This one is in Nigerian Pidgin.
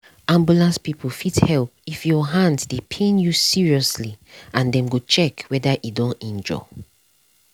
ambulance people fit help if your hand dey pain you seriously and dem go check whether e don injure.